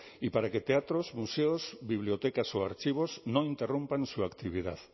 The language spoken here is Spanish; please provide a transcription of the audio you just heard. y para que teatros museos bibliotecas o archivos no interrumpan su actividad